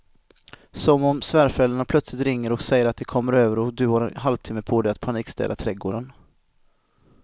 Som om svärföräldrarna plötsligt ringer och säger att de kommer över och du har en halvtimme på dig att panikstäda trädgården.